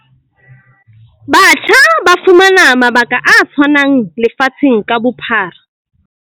Batjha ba fumane mabaka a tshwanang lefatsheng ka bo-phara.